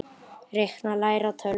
Reikna- læra á tölvur